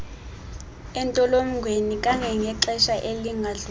entolongweni kangangexesha elingadlulanga